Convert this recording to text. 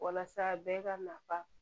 Walasa bɛɛ ka nafa